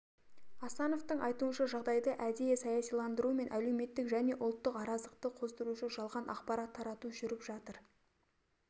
асановтың айтуынша жағдайды әдейі саясиландыру мен әлеуметтік және ұлттық араздықты қоздырушы жалған ақпарат тарату жүріп жатыр